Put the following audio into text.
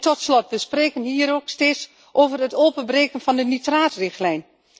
Tot slot, we spreken hier ook steeds over het openbreken van de nitraatrichtlijn.